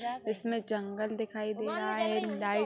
इसमें जंगल दिखाई दे रहा है एक लाइट --